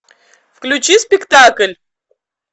включи спектакль